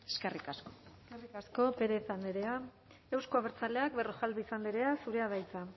eskerrik asko eskerrik asko pérez andrea euzko abertzaleak berrojalbiz andrea zurea da hitza